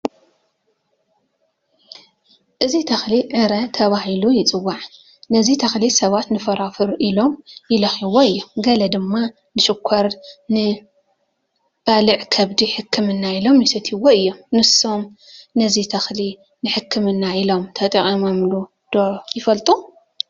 እዚ ተኽሊ ዕረ ተባሂሉ ዝፅዋዕ፡፡ ነዚ ተኽሊ ሰባት ንፎሮፎር ኢሎም ይልከይዎ እዮም፡፡ ገለ ድማ ንሽኾር ንባልዕ ከብዲ ሕክምና ኢሎም ይሰትዩዎ እዮም፡፡ ንሶም ነዚ ተኽሊ ንሕክምና ኢሎም ተጠቒሞሙሉ ዶ ይፈልጡ?